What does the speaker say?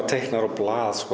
teiknað á blað